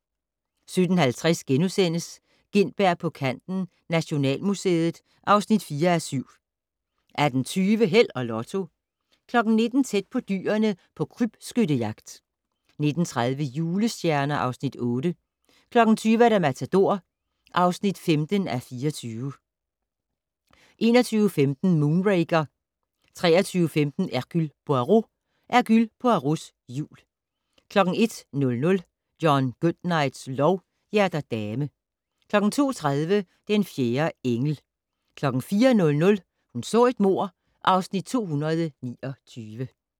17:50: Gintberg på kanten - Nationalmuseet (4:7)* 18:20: Held og Lotto 19:00: Tæt på dyrene på krybskyttejagt 19:30: Julestjerner (Afs. 8) 20:00: Matador (15:24) 21:15: Moonraker 23:15: Hercule Poirot: Hercule Poirots jul 01:00: John Goodnights lov: Hjerter dame 02:30: Den fjerde engel 04:00: Hun så et mord (Afs. 229)